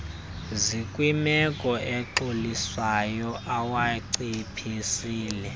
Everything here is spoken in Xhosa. zikwimeko exolisayo awanciphisile